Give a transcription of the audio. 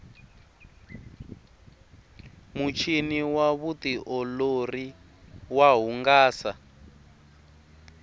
muchini wa vutiolori wa hungasa